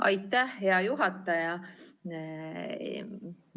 Aitäh, hea juhataja!